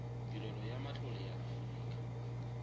tirelo ya matlole ya aforika